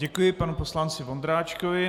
Děkuji panu poslanci Vondráčkovi.